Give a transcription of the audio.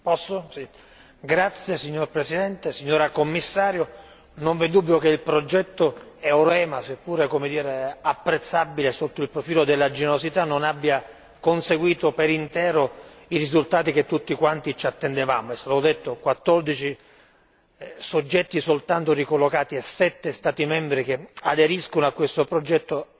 Signor Presidente, onorevoli colleghi, signora Commissario, non vi è dubbio che il progetto EUREMA seppure, come dire, apprezzabile sotto il profilo della generosità, non abbia conseguito per intero i risultati che tutti quanti ci attendevamo. È stato detto 14 soggetti soltanto ricollocati e sette Stati membri che aderiscono a questo progetto